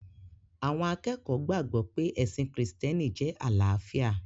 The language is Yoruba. Àwọn akẹ́kọ̀ọ́ gbàgbọ̀ pé ẹ̀sìn krìstẹ́nì jẹ́ àlàáfíà